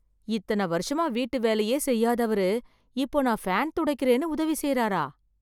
இத்தன வருஷமா வீட்டுவேலையே செய்யாதவரு, இப்போ நான் ஃபேன் துடைக்கறேன்னு உதவி செய்றாரா...